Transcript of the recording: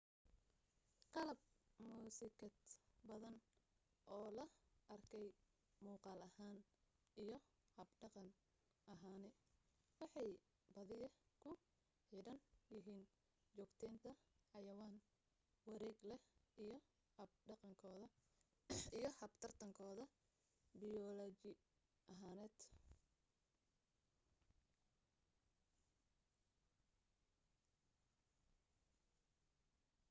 qalab muusikaad badan oo la arkay muuqaal ahaan iyo hab dhaqan ahaani waxay badiyaa ku xidhan yihiin joogtaynta xayawaan wareeg leh iyo hab tarankooda biyolaji ahaaneed